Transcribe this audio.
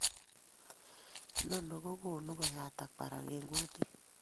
Inoni kokonu koyatak barak eng' kutit